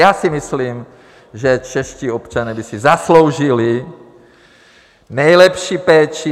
Já si myslím, že čeští občané by si zasloužili nejlepší péči.